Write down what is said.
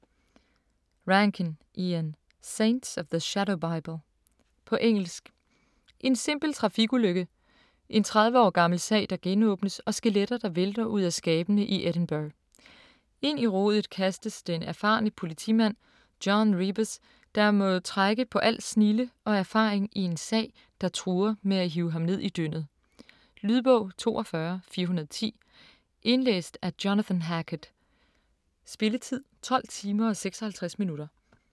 Rankin, Ian: Saints of the Shadow Bible På engelsk. En simpel trafikulykke. En 30 år gammel sag der genåbnes, og skeletter, der vælter ud af skabene i Edinburgh. Ind i rodet kastes den erfarne politimand John Rebus, der må trække på al sin snilde og erfaring i en sag, der truer med at rive ham med ned i dyndet. Lydbog 42410 Indlæst af Jonathan Hackett Spilletid: 12 timer, 56 minutter.